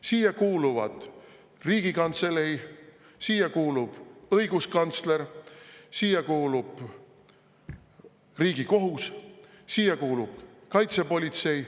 Siia kuuluvad Riigikantselei, siia kuulub õiguskantsler, siia kuulub Riigikohus, siia kuulub kaitsepolitsei.